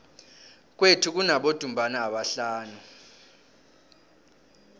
kwethu kunabodumbana abahlanu